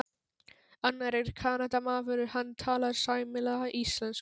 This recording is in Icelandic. Annar er Kanadamaður, hann talar sæmilega íslensku.